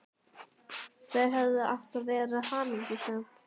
Þau hefðu átt að vera hamingjusöm.